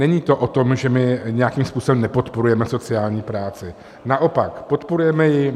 Není to o tom, že my nějakým způsobem nepodporujeme sociální práci, naopak, podporujeme ji.